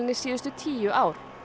síðustu tíu ár